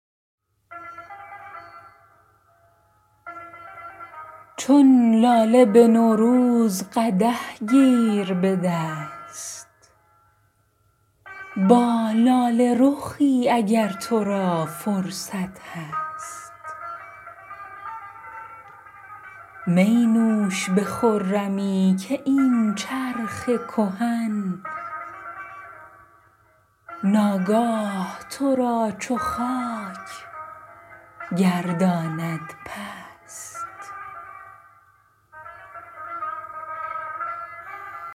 چون لاله به نوروز قدح گیر به دست با لاله رخی اگر تو را فرصت هست می نوش به خرمی که این چرخ کهن ناگاه تو را چو خاک گرداند پست